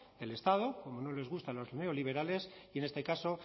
del estado como no les gustan los neoliberales y en este caso